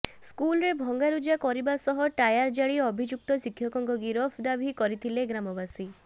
ସ୍କୁଲରେ ଭଙ୍ଗାରୁଜା କରିବା ସହ ଟାୟାର ଜାଳି ଅଭିଯୁକ୍ତ ଶିକ୍ଷକଙ୍କ ଗିରଫ ଦାବି କରିଥିଲେ ଗ୍ରାମବାସୀ